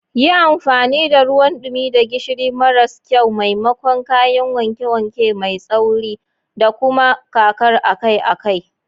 Yi amfani da ruwan dumi da gishiri maras kyau maimakon kayan wanke-wanke mai tsauri, da kuma kakar akai-akai.